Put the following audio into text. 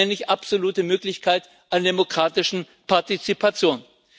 Das nenne ich absolute Möglichkeit an demokratischer Partizipation.